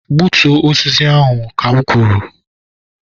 gbutuo osisi ahụ ka m kwuru